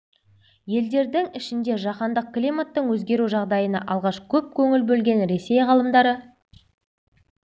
елдерінің ішінде жаһандық климаттың өзгеру жағдайына алғаш көп көңіл бөлген ресей ғалымдары